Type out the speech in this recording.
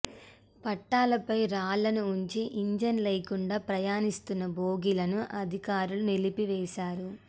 పట్టాలపై రాళ్ళను ఉంచి ఇంజన్ లేకుండా ప్రయాణీస్తున్న బోగీలను అధికారులు నిలిపివేశారు